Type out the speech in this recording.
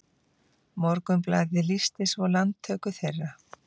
Morgunblaðið lýsti svo landtöku þeirra